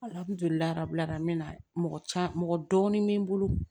n mɛna mɔgɔ caman mɔgɔ dɔɔni be n bolo